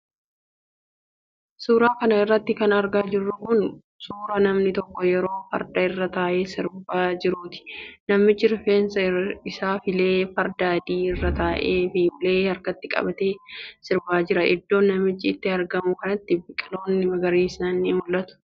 Suura kana irratti kan argaa jirru kun, suura namni tokko yeroo farda irra taa'ee sirbaa jiruuti. Namichi rifeensa isaa filee, farda adii irra taa'ee fi ulee harkatti qabatee sirbaa jira. Iddoon namichi itti argamu kanatti biqiloonni magariisni ni mul'atu.